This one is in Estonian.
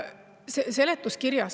See väide ei vasta tõele.